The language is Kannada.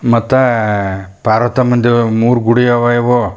ಮತ್ತೆ ಪಾರವತಮ್ಮನದು ಮೂರ್ ಗುಡಿ ಅವ್ ಇವು.